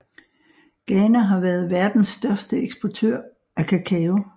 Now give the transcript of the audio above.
Ghana har været verdens største eksportør af kakao